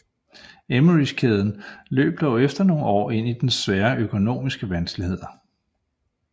Emmerys kæden løb dog efter nogle år ind i svære økonomiske vanskeligheder